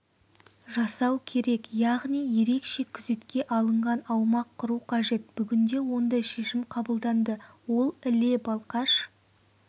жасау керек яғни ерекше күзетке алынған аумақ құру қажет бүгінде ондай шешім қабылданды ол іле-балқаш